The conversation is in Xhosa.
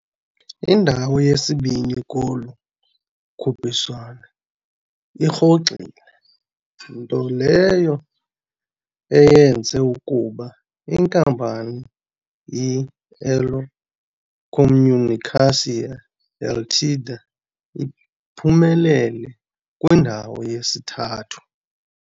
Indawo yesibini kolu khuphiswano irhoxile, nto leyo eyenze ukuba inkampani i-Elo Comunicação Ltda iphumelele, kwindawo yesithathu.